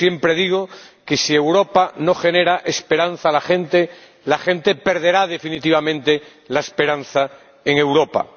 Yo siempre digo que si Europa no genera esperanza en la gente, la gente perderá definitivamente la esperanza en Europa.